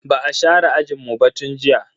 Ba a share ajinmu ba tun jiya.